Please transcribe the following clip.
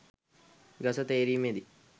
ගස තේරීමෙදී